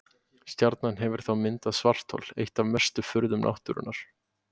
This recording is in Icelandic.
Stjarnan hefur þá myndað svarthol, eitt af mestu furðum náttúrunnar.